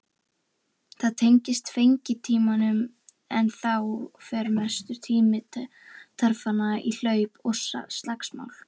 Það tengist fengitímanum en þá fer mestur tími tarfanna í hlaup og slagsmál.